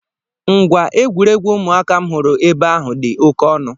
Ngwa egwuregwu ụmụaka m hụrụ ebe ahụ dị oké ọnụ.